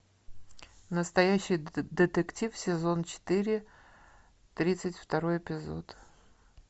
настоящий детектив сезон четыре тридцать второй эпизод